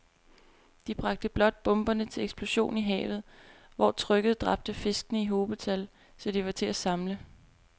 De bragte blot bomberne til eksplosion i havet, hvor trykket dræbte fiskene i hobetal, så de var til at samle